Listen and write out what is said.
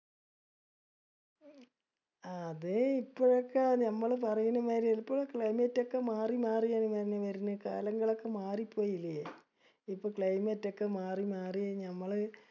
ആ അതെ ഇപ്പോഴൊക്കെ ഞമ്മള് പറയണ്‌ മായിരി ഇപ്പൊ climate ഒക്കെ മാറിമാറിയാണ് മോനെ വരണേ കാലങ്ങളൊക്കെ മാറി പോയിലെ. ഇപ്പൊ climate ഒക്കെ മാറിമാറി ഞമ്മള്